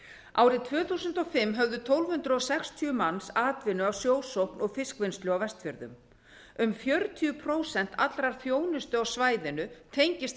árið tvö þúsund og fimm höfðu tólf hundruð sextíu manns atvinnu af sjósókn og fiskvinnslu á vestfjörðum um fjörutíu prósent allrar þjónustu á svæðinu tengist